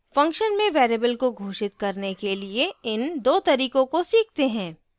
function में variable को घोषित करने के लिए इन 2 तरीकों को सीखते हैं